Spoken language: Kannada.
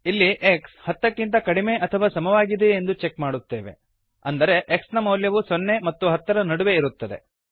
ಇಲ್ಲಿ ಎಕ್ಸ್ ಹತ್ತಕ್ಕಿಂತ ಕಡಿಮೆ ಅಥವಾ ಸಮವಾಗಿದೆಯೇ ಎಂದು ಚೆಕ್ ಮಾಡುತ್ತೇವೆ ಅಂದರೆ x ನ ಮೌಲ್ಯವು ಸೊನ್ನೆ ಮತ್ತು ಹತ್ತರ ನಡುವೆ ಇರುತ್ತದೆ